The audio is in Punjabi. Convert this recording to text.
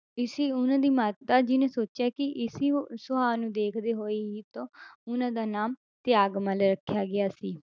ਇਸੀ ਉਹਨਾਂ ਦੀ ਮਾਤਾ ਜੀ ਨੇ ਸੋਚਿਆ ਕਿ ਇਸੀ ਉਹ ਸੁਭਾਅ ਨੂੰ ਦੇਖਦੇ ਹੋਏ ਹੀ ਤਾਂ ਉਹਨਾਂ ਦਾ ਨਾਮ ਤਿਆਗਮੱਲ ਰੱਖਿਆ ਗਿਆ ਸੀ।